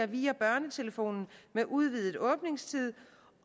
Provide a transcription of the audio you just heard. via børnetelefonen med udvidet åbningstid